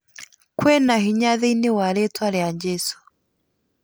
Kũĩna hinya thĩinĩ wa rĩtwa rĩa jesũ